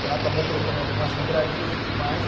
Então ela acabou colocando em algumas livrarias e tudo mais.